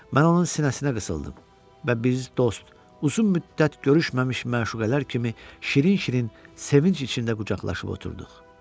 Mən onun sinəsinə qısıldım və biz dost, uzun müddət görüşməmiş məşuqələr kimi şirin-şirin sevinc içində qucaqlaşıb oturduq.